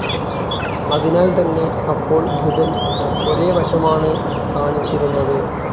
അതിനാൽതന്നെ അപ്പോൾ ബുധൻ ഒരേ വശമാണ് കാണിച്ചിരുന്നത്.